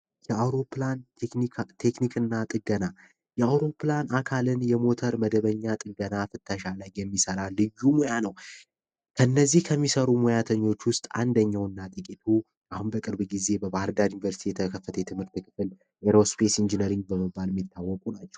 የአዎሮፕላን ቴክኒካ ቴክኒክና ጥገና የሆኑ ፕላን አካልን የሞተር መደበኛ ጥበቃ የሚሰራ ነው እነዚህ ከሚሰሩ ሙያተኞች ውስጥ አንደኛ ጥቂት ጊዜ በባህርዳር ዩንቨርስቲ የተከፈት አይሮስፔስ ኢንጂነሪንግ ነው